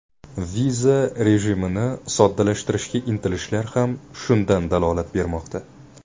Viza rejimini soddalashtirishga intilishlar ham shundan dalolat bermoqda.